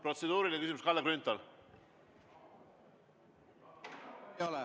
Protseduuriline küsimus, Kalle Grünthal.